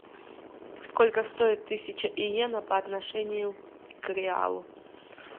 сколько стоит тысяча йен по отношению к реалу